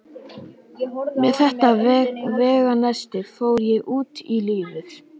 Með þetta veganesti fór ég út í lífið.